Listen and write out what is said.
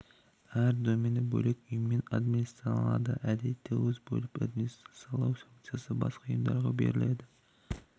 әр домені бөлек ұйыммен администрацияланады әдетте ол өз бөліп бұл администрациялау функциясын басқа ұйымдарға береді